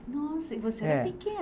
Nossa, e você era